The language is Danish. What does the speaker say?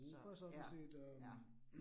Så ja, ja